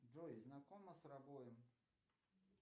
джой знакома с рабоем